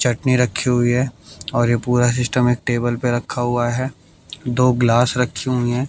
चटनी रखी हुई है और यह पूरा सिस्टम एक टेबल पे रखा हुआ है दो गिलास रखी हुई हैं।